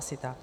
Asi tak.